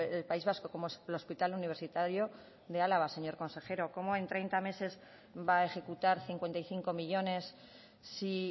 el país vasco como es el hospital universitario de álava señor consejero cómo en treinta meses va a ejecutar cincuenta y cinco millónes si